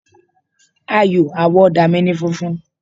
Àyò àwọ̀ ọ̀dà mi ni funfun.